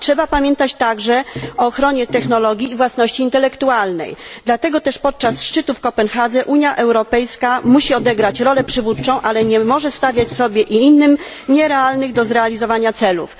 Trzeba pamiętać także o ochronie technologii i własności intelektualnej, dlatego też podczas szczytu w Kopenhadze Unia Europejska musi odegrać rolę przywódczą, ale nie może stawiać sobie i innym nierealnych do zrealizowania celów.